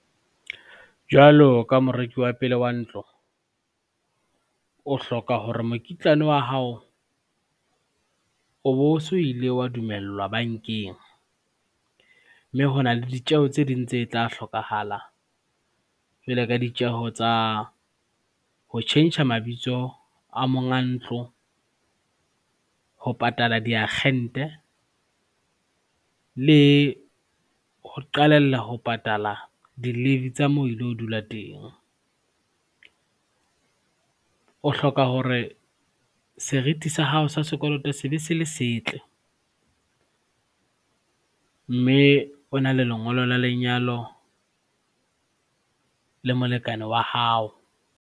Jwalo ka moreki wa pele wa ntlo, o hloka hore mokitlane wa hao o bo so ile wa dumellwa bankeng mme hona le ditjeho tse ding tse tla hlokahala jwale ka ditjeho tsa ho tjhentjha mabitso a monga ntlo, ho patala diakgente le ho qalella ho patala di-levy tsa moo ilo dula teng. O hloka hore serithi sa hao sa sekoloto se be se le setle, mme o na le lengolo la lenyalo le molekane wa hao.